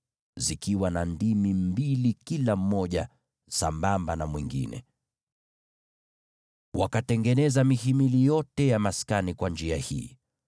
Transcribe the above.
zikiwa na ndimi mbili zilizokuwa sambamba kila mmoja na mwingine. Wakatengeneza mihimili yote ya maskani jinsi hii.